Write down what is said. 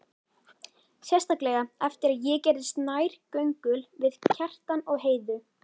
Sérstaklega eftir að ég gerðist nærgöngul við Kjartan og Heiðu.